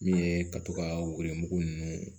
Min ye ka to ka woro nunnu